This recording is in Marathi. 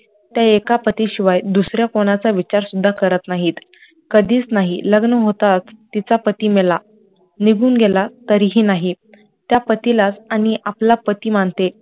त्या एका पति शिवाय दुसऱ्या कोणाचा विचार सुद्धा करत नाही, कधीच नाही, लग्न होताच तिचा पति मेला, निघुन गेला तरीही नाहीत त्या पतिलाच आणी आपला पति मानते